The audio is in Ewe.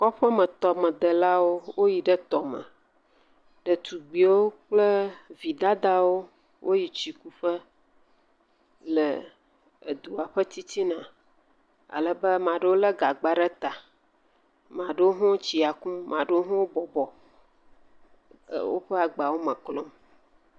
Kɔƒemetɔmedelawo. Woyi ɖe tɔme. ɖetugbiwo kple vi dadawo woyi tsikuƒe le edua ƒe titina. Alebe ame aɖewo lé gagba ɖe ta. Ma ɖewo hã tsia kum. Ma ɖewo hã wo bɔbɔ le woƒe agbawo me klɔm.